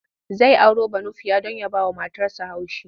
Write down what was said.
Zai auro Banufiya don ya bawa matarsa haushi.